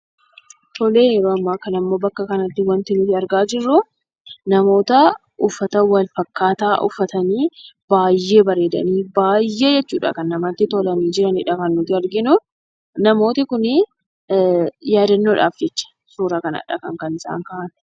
Tole ,yeroo ammaa kana immoo bakka kanatti wanti nuti argaa jirru namoota uffata walfakkaataa uffatanii, baay'ee bareedanii, baay'ee jechuudha kan namatti tolanii jiranii dha kan nuti arginu. Namooti kuni yaadannoodhaaf jecha suuraa kana kan isaan ka'an.